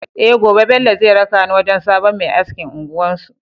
Eh Gobe Bello zai raka ni wajan sabon Me askin unguwar su